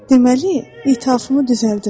Deməli, ithafımı düzəldirəm.